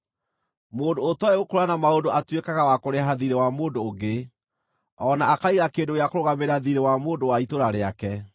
Mũndũ ũtooĩ gũkũũrana maũndũ atuĩkaga wa kũrĩha thiirĩ wa mũndũ ũngĩ o na akaiga kĩndũ gĩa kũrũgamĩrĩra thiirĩ wa mũndũ wa itũũra rĩake.